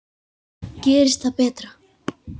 Gerist það betra.